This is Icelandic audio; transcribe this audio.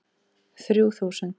Þrjú þúsund